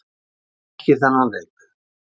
Hann þekkir þennan leik.